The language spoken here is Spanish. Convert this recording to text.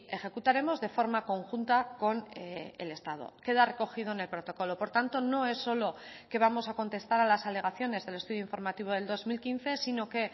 ejecutaremos de forma conjunta con el estado queda recogido en el protocolo por tanto no es solo que vamos a contestar a las alegaciones del estudio informativo del dos mil quince sino que